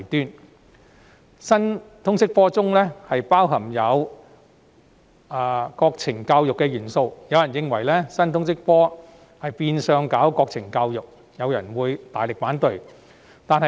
由於新通識科包含國情教育元素，有人認為這是變相的國情教育，於是大力反對。